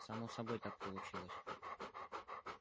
само собой так получилось